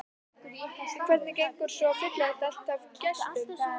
En hvernig gengur svo að fylla þetta allt af gestum?